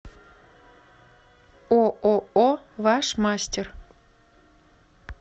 ооо ваш мастер